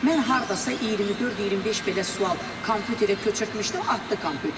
Mən hardasa 24-25 belə sual kompüterə köçürtmüşdüm, atdı kompüterim.